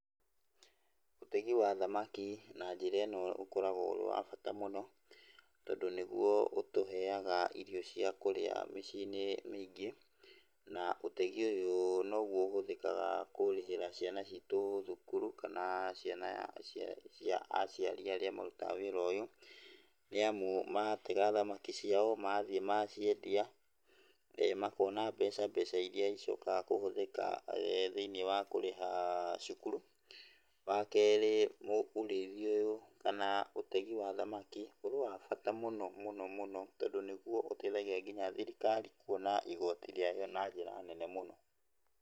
Ũtegi wa thamaki na njĩra ĩno ũkoragwo ũrĩ wa bata mũno, tondũ niguo ũtũheaga irio cĩa kũrĩa mĩciĩ-inĩ mĩingĩ, na ũtegi ũyũ noguo ũhũthĩkaga kũrĩhĩra ciana citũ thukuru, kana ciana cia aciari arĩa marutaga wĩra ũyũ, nĩamu matega thamaki ciao, mathiĩ maciendia, makona mbeca, mbeca iria icokaga kũhũthĩka thĩiniĩ wa kũriha cukuru. Wa kerĩ, urĩithi ũyũ, kana ũtegi wa thamaki ũrĩ wa bata mũno mũno mũno, tondũ nĩguo ũteithagĩa kinya thirikari kuona igoti rĩayo na njĩra nene mũno.